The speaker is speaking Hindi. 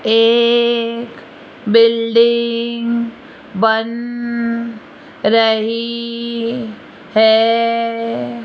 एक बिल्डिंग बन रही है।